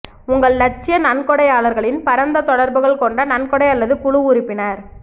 உங்கள் இலட்சிய நன்கொடையாளர்களின் பரந்த தொடர்புகள் கொண்ட நன்கொடை அல்லது குழு உறுப்பினர்